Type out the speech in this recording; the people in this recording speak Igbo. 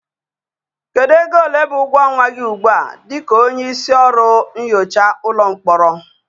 Kedu ego ole bụ ụgwọ ọnwa gị ugbu a dị ka onye isi ọrụ nyocha ụlọ mkpọrọ?